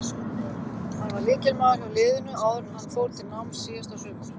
Hann var lykilmaður hjá liðinu áður en hann fór til náms síðasta sumar.